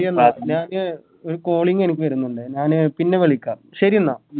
ഒരു Calling എനിക്ക് വരുന്നുണ്ട് ഞാന് പിന്നെ വിളിക്കാം ശരി എന്ന